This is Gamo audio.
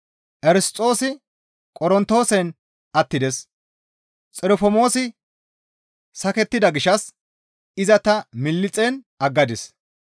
Erisxoosi Qorontoosen attides; Xirofomoosi sakettida gishshas iza ta Miliixen aggadis.